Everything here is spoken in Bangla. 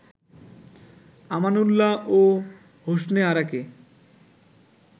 আমানউল্লাহ ও হোসনে আরাকে